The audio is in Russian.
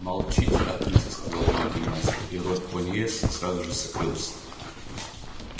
молчите отрывисто сказал великий мастер и рот пониетса сразу же закрылся